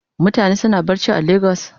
Mutane suna barci a lagos?